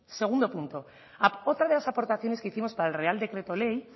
segundo punto otra de las aportaciones que hicimos para el real decreto ley